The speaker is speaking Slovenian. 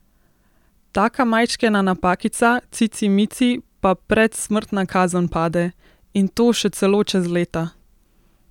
Taka majčkena napakica, cici mici, pa prec smrtna kazen pade, in to še celo čez leta!